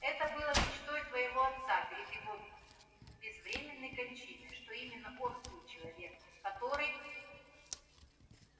это было мечтой твоего отца перед его безвременной кончиной что именно он будет человеком который